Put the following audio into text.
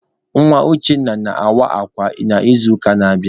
Nwa Uchenna na-awa akwa n'izuụka na-abịanụ.